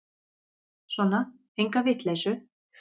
Sona, enga vitleysu.